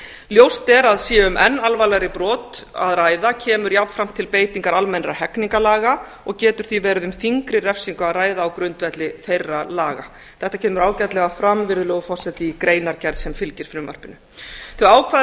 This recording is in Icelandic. ljóst er að sé um enn alvarlegri brot að ræða kemur jafnframt til beitingar almennra hegningarlaga og getur því verið um þyngri refsingu að ræða á grundvelli þeirra laga þetta kemur ágætlega fram virðulegur forseti í greinargerð sem fylgir frumvarpinu þau ákvæði